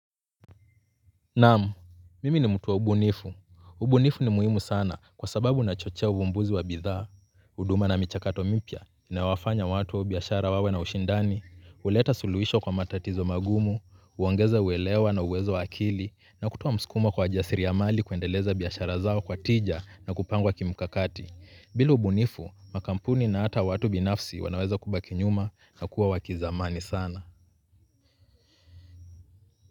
Naam, mimi ni mtu wa ubunifu. Ubunifu ni muhimu sana kwa sababu unachochea uvumbuzi wa bidhaa, huduma na michakato mipya, inayowafanya watu au biashara wawe na ushindani, huleta suluhisho kwa matatizo magumu, huongeza uelewa na uwezo wa akili, na kutoa mskumo kwa jasiriamali kuendeleza biashara zao kwa tija na kupangwa kimkakati. Bila ubunifu, makampuni na hata watu binafsi wanaweza kubaki nyuma na kuwa wa kizamani sana.